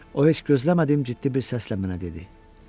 O heç gözləmədiyim ciddi bir səslə mənə dedi: